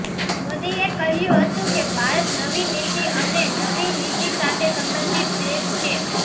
મોદીએ કહ્યું હતું કે ભારત નવી નીતિ અને નવી નીતિ સાથે સંબંધિત દેશ છે